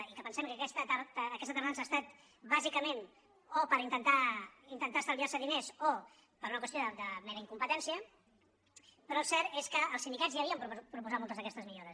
i que pensem que aquesta tardança ha estat bàsicament o per intentar estalviar se diners o per una qüestió de mera incompetència però el cert és que els sindicats ja havien proposat moltes d’aquestes millores